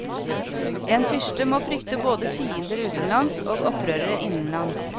En fyrste må frykte både fiender utenlands og opprørere innenlands.